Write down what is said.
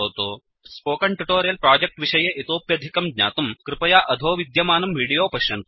spoken tutorial project विषये इतोप्यधिकं ज्ञातुं कृपया अधो विद्यमानं विडीयो पश्यन्तु